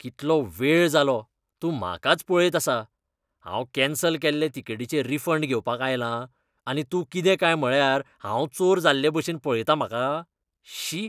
कितलो वेळ जालो, तूं म्हाकाच पळयत आसा. हांव कॅन्सल केल्ले तिकेटीचे रिफंड घेवपाक आयलां, आनी तूं कितें काय म्हळ्यार हांव चोर जाल्लेभाशेन पळयता म्हाका. शी!